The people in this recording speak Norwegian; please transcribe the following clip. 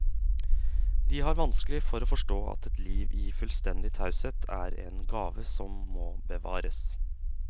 De har vanskelig for å forstå at et liv i fullstendig taushet er en gave som må bevares.